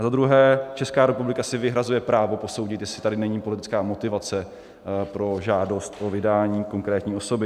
A za druhé, Česká republika si vyhrazuje právo posoudit, jestli tady není politická motivace pro žádost o vydání konkrétní osoby.